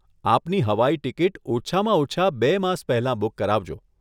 આપની હવાઈ ટીકીટ ઓછામાં ઓછાં બે માસ પહેલાં બુક કરાવજો.